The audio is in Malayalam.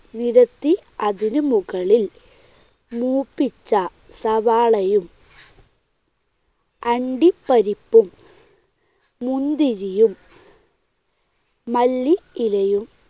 നിരത്തി അതിനു മുകളിൽ മൂപ്പിച്ച സവാളയും അണ്ടിപ്പരിപ്പും മുന്തിരിയും മല്ലിയിലയും